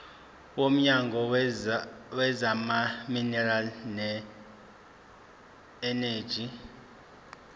womnyango wezamaminerali neeneji